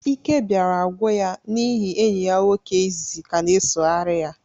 Íké bịara gwụ ya n'ịhị enyi ya nwoke ịzịzị ka na-esogharị ya